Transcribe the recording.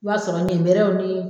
I b'a sɔrɔ ɲɛnbɛrɛw ni